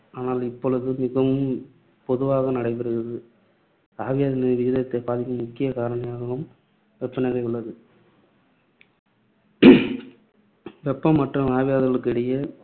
ஆனால் இப்பொழுது மிகவும் பொதுவாக நடைபெறுகிறது. ஆவியாதலின் விகிதத்தை பாதிக்கும் முக்கிய காரணியாகவும் வெப்பநிலை உள்ளது. வெப்பம் மற்றும் ஆவியாதலுக்கு இடையே